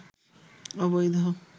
অবৈধ